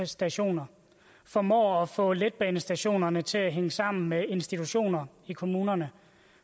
stationerne formår at få letbanestationerne til at hænge sammen med institutioner i kommunerne